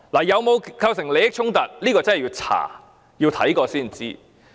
有否構成利益衝突，要調查過才知。